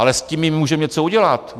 Ale s tím my můžeme něco udělat.